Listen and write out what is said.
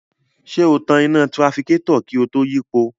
Ṣé o tan iná tirafikátọ̀ kí o tó yípo?